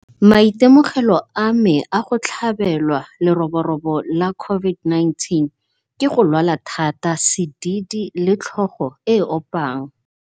Maitemogelo a me a go tlhabelwa leroborobo la COVID-19 ke go lwala thata, sedidi le tlhogo e opang.